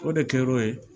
O de kɛra o ye